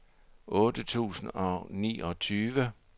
otte tusind og niogtyve